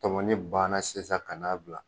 Tɔmɔni banna sisan ka n'a bila